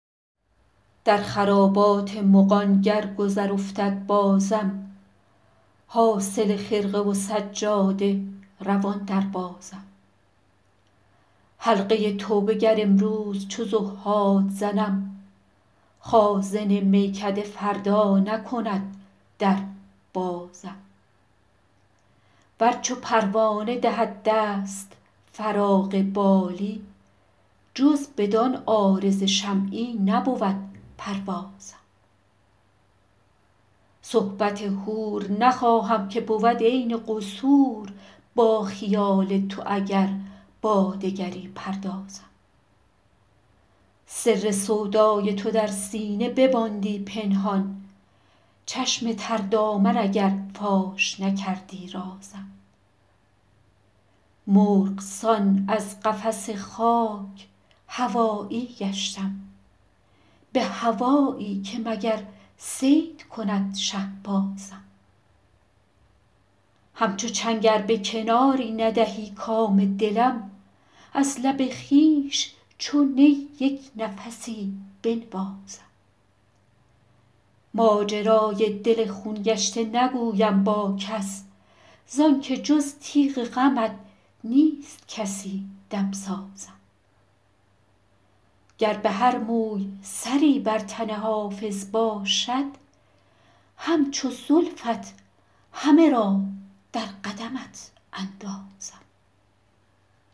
در خرابات مغان گر گذر افتد بازم حاصل خرقه و سجاده روان دربازم حلقه توبه گر امروز چو زهاد زنم خازن میکده فردا نکند در بازم ور چو پروانه دهد دست فراغ بالی جز بدان عارض شمعی نبود پروازم صحبت حور نخواهم که بود عین قصور با خیال تو اگر با دگری پردازم سر سودای تو در سینه بماندی پنهان چشم تر دامن اگر فاش نکردی رازم مرغ سان از قفس خاک هوایی گشتم به هوایی که مگر صید کند شهبازم همچو چنگ ار به کناری ندهی کام دلم از لب خویش چو نی یک نفسی بنوازم ماجرای دل خون گشته نگویم با کس زان که جز تیغ غمت نیست کسی دمسازم گر به هر موی سری بر تن حافظ باشد همچو زلفت همه را در قدمت اندازم